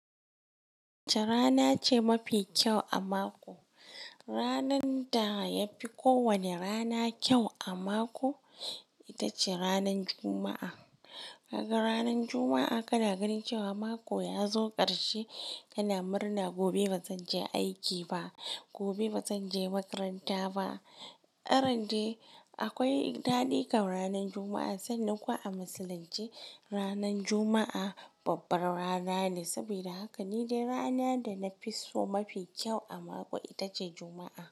Wacce rana ce mafi kyau a mako? Ranar da yafi ko wane rana kyau a mako, ita ce ranan Juma'a. Kaga ranar Juma'a kana ganin cewa mako ya zo ƙarshe kana murna, gobe bazan je aiki ba, gobe bazan je makaranta ba. Ran de akwai daɗikam ranar Juma'a sannan ko a musulunce ranar Juma'a babbar rana ne. Saboda haka ni dai rana da na fi so mafi kyau a mako ita ce Juma'a.